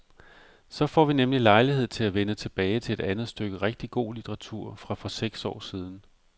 Så får vi nemlig lejlighed til at vende tilbage til et andet stykke rigtig god litteratur fra for seks år siden.